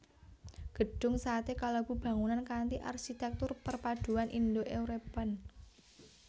Gedhung Satè kalebu bangunan kanthi arsitéktur perpaduan Indo European